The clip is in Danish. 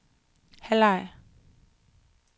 halvleg